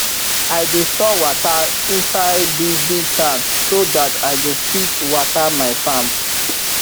i dey store wata inside big big tank so that i go fit wata my farm